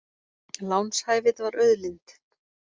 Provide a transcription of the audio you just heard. Lánshæfið var auðlind